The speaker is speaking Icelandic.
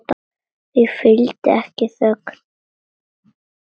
Því fylgdi ekki þögn.